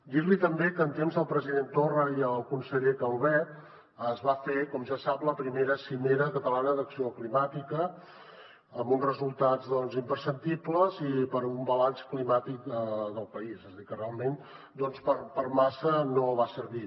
dir li també que en temps del president torra i el conseller calvet es va fer com ja sap la primera cimera catalana d’acció climàtica amb uns resultats doncs imperceptibles per un balanç climàtic del país és a dir que realment per massa no va servir